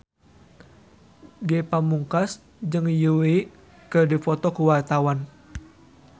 Ge Pamungkas jeung Yui keur dipoto ku wartawan